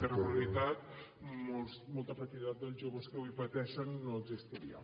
de regularitat molta precarietat dels joves que avui pateixen no existiria